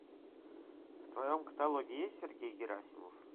в твоем каталоге есть сергей герасимов